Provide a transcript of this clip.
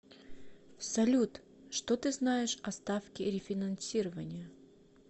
салют что ты знаешь о ставке рефинансирования